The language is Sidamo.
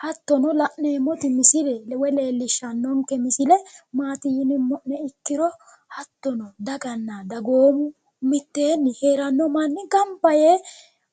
Hattono la'neemoti misille woy leelishanonke misille maati yinumo'ne ikkiro hattono daganna dagoomu miteenni heerano manni gamba yee